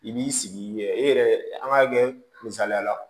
I b'i sigi i yɛrɛ i yɛrɛ an k'a kɛ misaliya la